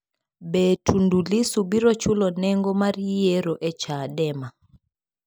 Be Tundu Lissu biro chulo nengo mar yiero e Chadema?